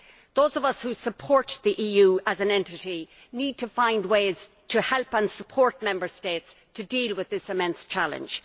Those of us who support the EU as an entity need to find ways to help and support Member States to deal with this immense challenge.